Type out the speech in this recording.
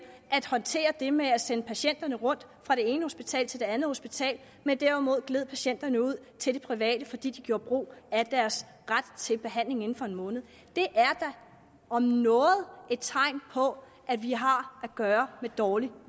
at håndtere det med at sende patienterne rundt fra det ene hospital til det andet hospital men derimod gled patienterne ud til de private fordi de gjorde brug af deres ret til behandling inden for en måned det er da om noget et tegn på at vi har at gøre med dårlig